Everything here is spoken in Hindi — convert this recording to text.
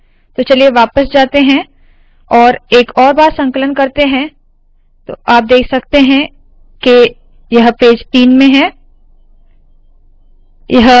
तो चलिए वापस जाते है और एक और बार संकलन करते है तो आप देख सकते है यह पेज तीन में है